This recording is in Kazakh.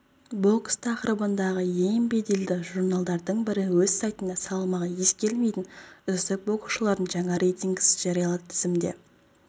бокс тақырыбындағы ең беделді журналдардың бірі өз сайтында салмағы ескерілмейтін үздік боксшылардың жаңа рейтингісін жариялады тізімде